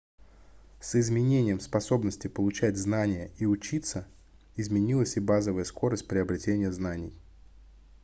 с изменением способности получать знания и учиться изменилась и базовая скорость приобретения знаний